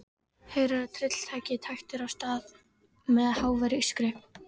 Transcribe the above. Heyrir að tryllitækið tætir af stað með háværu ískri.